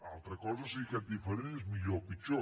altra cosa és si aquest diferent és millor o pitjor